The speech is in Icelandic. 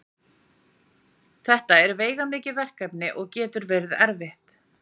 þetta er veigamikið verkefni og getur verið erfitt